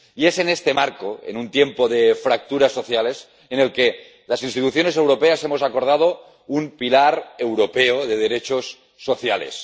Y es en este marco —en un tiempo de fracturas sociales— en el que las instituciones europeas hemos acordado un pilar europeo de derechos sociales.